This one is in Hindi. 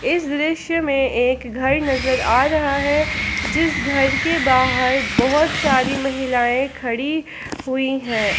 इस दृश्य में एक घर नजर आ रहा है जिस घर के बाहर बहुत सारी महिलाएं खड़ी हुई हैं।